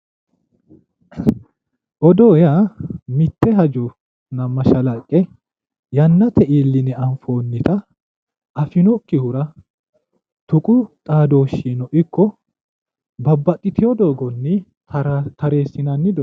odoo yaa mitte hajonna mashalaqqe yannate iilline anfoonnita afinokkihura tuqu xaadooshshinino ikko babbaxitino doogonni tareessinanni.